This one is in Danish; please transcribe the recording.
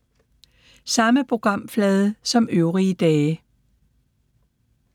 Samme programflade som øvrige dage